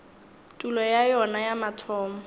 tulo ya yona ya mathomo